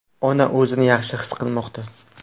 Ona o‘zini yaxshi his qilmoqda.